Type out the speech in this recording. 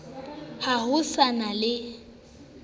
ha ho sa na le